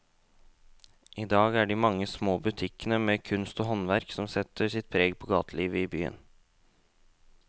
I dag er det de mange små butikkene med kunst og håndverk som setter sitt preg på gatelivet i byen.